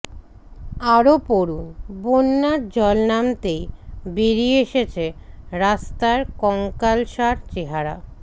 আরও পড়ুন বন্যার জল নামতেই বেরিয়ে এসেছে রাস্তার কঙ্কালসার চেহারা